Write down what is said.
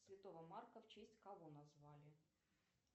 святого марка в честь кого назвали